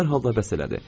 Hər halda bəs elədi.